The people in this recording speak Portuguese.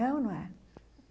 É ou não é?